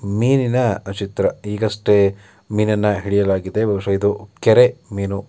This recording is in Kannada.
ಮೀನಿನ ಚಿತ್ರ ಈಗಷ್ಟೇ ಮೀನನ್ನ ಹಿಡಿಯಲಾಗಿದೆ. ಬಹುಶಃ ಇದು ಕೆರೆ ಮೀನು.